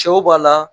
Cɛw b'a la